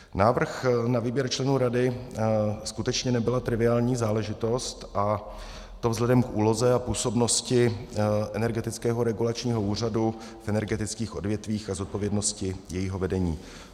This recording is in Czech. Návrh na výběr členů rady skutečně nebyla triviální záležitost, a to vzhledem k úloze a působnosti Energetického regulačního úřadu v energetických odvětvích a zodpovědnosti jejího vedení.